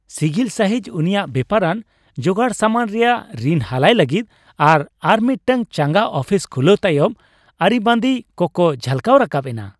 ᱥᱤᱜᱤᱞ ᱥᱟᱹᱦᱤᱡ ᱩᱱᱤᱭᱟᱜ ᱵᱮᱯᱟᱨᱟᱱ ᱡᱚᱜᱟᱲᱥᱟᱢᱟᱱ ᱨᱮᱭᱟᱜ ᱨᱤᱱ ᱦᱟᱞᱟᱭ ᱞᱟᱹᱜᱤᱫ ᱟᱨ ᱟᱨᱢᱤᱫᱴᱟᱝ ᱪᱟᱸᱜᱟ ᱟᱯᱷᱤᱥ ᱠᱷᱩᱞᱟᱹᱣ ᱛᱟᱭᱚᱢ ᱟᱹᱨᱤᱵᱟᱹᱫᱤ ᱠᱚᱠᱚ ᱡᱷᱟᱞᱠᱟᱣ ᱨᱟᱠᱟᱵ ᱮᱱᱟ ᱾